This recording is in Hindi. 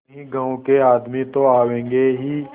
कई गाँव के आदमी तो आवेंगे ही